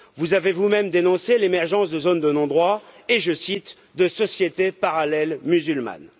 Vous avez vous même dénoncé l'émergence de zones de non droit et, je cite, de sociétés parallèles musulmanes.